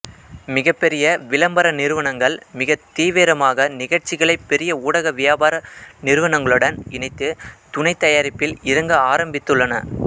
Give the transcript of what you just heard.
மிகப்பெரிய விளம்பர நிறுவனங்கள் மிகத் தீவிரமாக நிகழ்ச்சிகளை பெரிய ஊடக வியாபார நிறுவனங்களுடன் இணைந்து துணை தயாரிப்பில் இறங்க ஆரம்பித்துள்ளன